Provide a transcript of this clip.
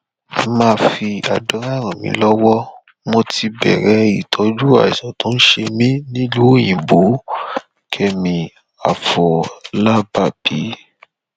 ẹ máa fi àdúrà ràn mí lọwọ mo ti bẹrẹ ìtọjú àìsàn tó ń ṣe mí nílùú òyìnbókẹmi àfọlábàbí